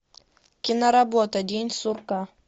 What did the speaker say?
киноработа день сурка